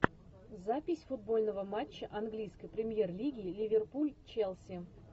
запись футбольного матча английской премьер лиги ливерпуль челси